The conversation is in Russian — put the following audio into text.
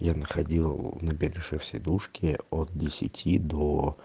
я находил на перешив сидушки от десяти до